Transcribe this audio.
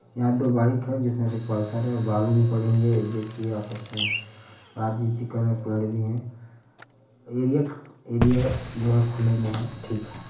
यहाँ दो बाइक है जिसमें से एक पल्सर है और बालू भी पड़ी हुई है। एक व्यक्ति आपस में है। एरिया एरिया जो है खुले में है ठीक है।